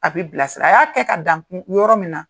A bɛ bilasira a y'a kɛ ka dankunko yɔrɔ min na.